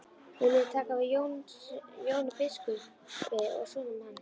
Viljið þið taka við Jóni biskupi og sonum hans?